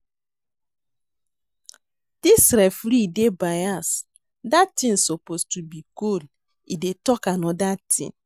Dis referee dey bias dat thing suppose to be goal e dey talk another thing